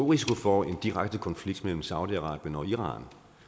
risiko for en direkte konflikt mellem saudi arabien og iran